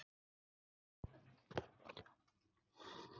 Af hverju eyðilagðir þú það fyrir okkur?